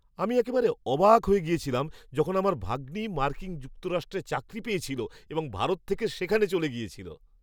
আমি একেবারে অবাক হয়ে গিয়েছিলাম যখন আমার ভাগ্নি মার্কিন যুক্তরাষ্ট্রে চাকরি পেয়েছিল এবং ভারত থেকে সেখানে চলে গিয়েছিল।